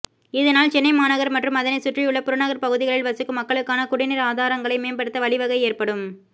இதனால் சென்னை மாநகர் மற்றும் அதனைச் சுற்றியுள்ள புறநகர் பகுதிகளில் வசிக்கும் மக்களுக்கான குடிநீர் ஆதாரங்களை மேம்படுத்த வழிவகை ஏற்படும்